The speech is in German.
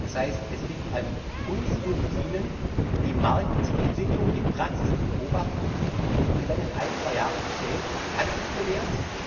Das heißt, es liegt an uns und Ihnen, die Marktentwicklung, die Praxis zu beobachten und dann in ein zwei Jahren zu sehen Hat es sich bewährt?